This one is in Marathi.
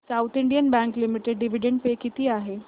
south Indian Bank Limited dividend pay किती आहे